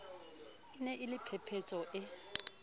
ne e le phephetso e